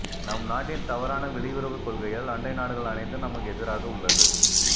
நம் நாட்டின் தவறான வெளியுறவு கொள்கையால் அண்டை நாடுகள் அனைத்தும் நமக்கு எதிராக உள்ளது